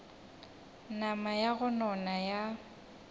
nama ya go nona ya